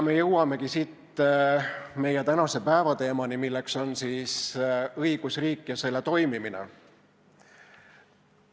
Siit jõuamegi meie tänase päevateemani, mis on õigusriik ja selle toimimine.